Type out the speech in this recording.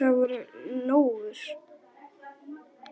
Það voru lóur.